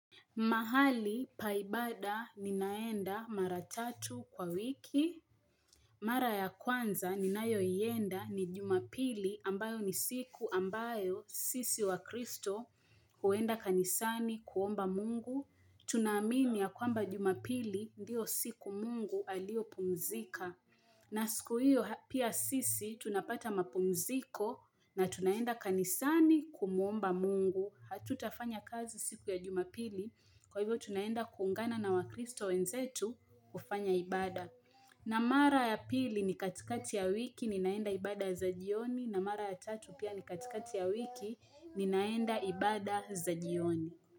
Mahali paibada ninaenda mara tatu kwa wiki. Mara ya kwanza ninayo iyenda ni jumapili ambayo ni siku ambayo sisi wa kristo huenda kanisani kuomba mungu. Tunamini ya kwamba jumapili ndiyo siku mungu alio pumzika. Na siku hiyo pia sisi tunapata mapumziko na tunaenda kanisani kumuomba mungu. Hatutafanya kazi siku ya jumapili kwa hivyo tunaenda kungana na wakristo wenzetu kufanya ibada na mara ya pili ni katikati ya wiki ni naenda ibada za jioni na mara ya tatu pia ni katikati ya wiki ni naenda ibada za jioni.